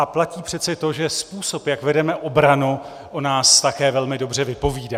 A platí přece to, že způsob, jak vedeme obranu, o nás také velmi dobře vypovídá.